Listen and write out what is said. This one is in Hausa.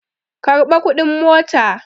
Karɓa kuɗin mota!